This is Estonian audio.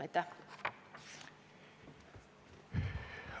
Aitäh!